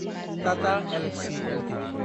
Tata Elxsi Ltd